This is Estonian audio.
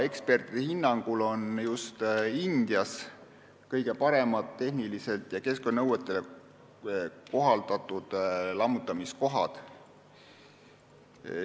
Ekspertide hinnangul on just Indias kõige paremad tehnilised ja keskkonnanõuetele kohaldatud lammutamiskohad.